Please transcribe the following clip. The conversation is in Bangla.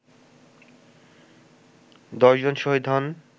১০ জন শহীদ হন